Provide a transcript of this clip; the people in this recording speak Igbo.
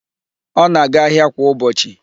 Ọ na-aga ahịa kwa ụbọchị.